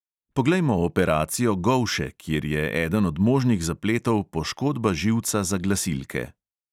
Poglejmo operacijo golše, kjer je eden od možnih zapletov poškodba živca za glasilke.